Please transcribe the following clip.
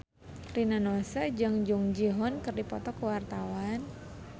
Rina Nose jeung Jung Ji Hoon keur dipoto ku wartawan